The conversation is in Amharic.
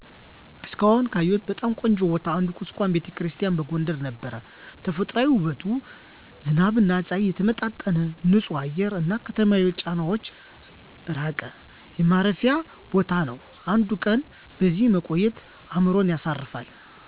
እስካሁን ካየሁት በጣም ቆንጆ ቦታ አንዱ ቁስቋም ⛪ቤተክርስቲያን በጎንደር ነበር። ተፈጥሯዊ ውበት፣ ዝናብና ፀሐይ የተመጣጠነ ንፁህ አየር፣ እና ከተማዊ ጫናዎች ራቀ የማረፊያ ቦታ ነው። አንድ ቀን በዚያ መቆየት አእምሮን ያሳርፋል።